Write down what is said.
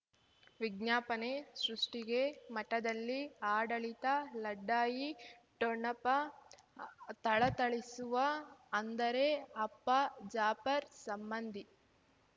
ವಿಜ್ಞಾಪನೆ ಸೃಷ್ಟಿಗೆ ಮಠದಲ್ಲಿ ಆಡಳಿತ ಲಢಾಯಿ ಠೊಣಪ ಥಳಥಳಿಸುವ ಅಂದರೆ ಅಪ್ಪ ಜಾಪರ್ ಸಂಬಂಧಿ